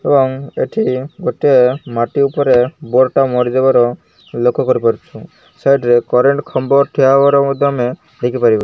ଏବଂ ଏଠି ଗୋଟିଏ ମାଟି ଉପରେ ବୋର୍ଡ଼ ଟା ମରିଯିବା ର ଲକ୍ଷ୍ୟ କରି ପାରୁଛୁଁ। ସାଇଡ଼୍ ରେ କରେଣ୍ଟ ଖମ୍ବ ଠିଆ ହବାର ମଧ୍ୟ ଆମେ ଦେଖି ପାରିବା।